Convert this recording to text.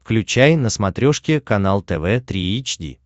включай на смотрешке канал тв три эйч ди